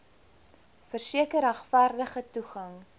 verseker regverdige toegang